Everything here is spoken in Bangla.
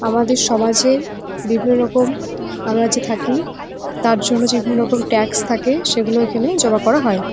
আমাদের সমাজে বিভিন্ন রকম আমরা যে থাকি তার জন্যে যে বিভিন্ন রকম ট্যাক্স থাকে সেগুলো এখানে জমা করা হয়।